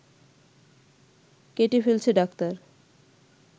কেটে ফেলছে ডাক্তার